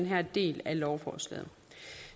her del af lovforslaget